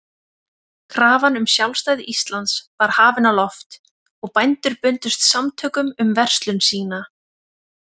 Krafan um sjálfstæði Íslands var hafin á loft, og bændur bundust samtökum um verslun sína.